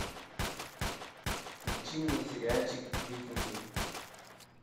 включи мне сериальчик викинги